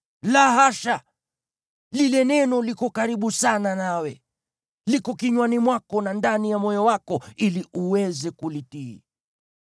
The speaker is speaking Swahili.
La hasha! Lile neno liko karibu sana nawe; liko kinywani mwako na ndani ya moyo wako ili uweze kulitii.